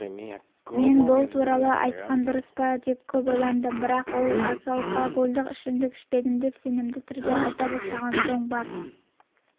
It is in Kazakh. мен бұл туралы айтқан дұрыс па деп көп ойландым бірақ ол алкогольдік ішімдік ішепедім деп сенімді түрде айта бастаған соң бар